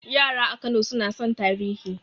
Yara a Kano suna son tarihi